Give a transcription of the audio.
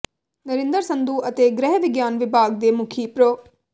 ਨਰਿੰਦਰ ਸੰਧੂ ਅਤੇ ਗ੍ਰਹਿ ਵਿਗਿਆਨ ਵਿਭਾਗ ਦੀ ਮੁਖੀ ਪ੍ਰੋ